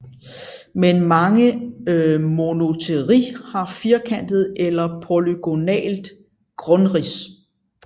Men mange monopteroi har firkantet eller polygonalt grundrids